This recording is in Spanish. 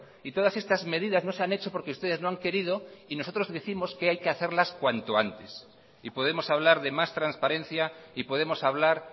y todas estas medidas no se han hecho porque ustedes no han querido y nosotros décimos que hay que hacerlas cuanto antes y podemos hablar de más transparencia y podemos hablar